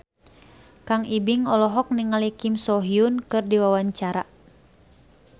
Kang Ibing olohok ningali Kim So Hyun keur diwawancara